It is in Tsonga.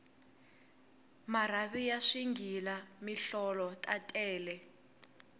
marhavi ya swighila mihlolo ta tele